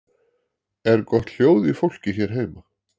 Er gott hljóð í fólki hér heima?